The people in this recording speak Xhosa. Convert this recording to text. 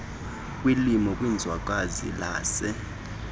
kulimo kwizwekazi lase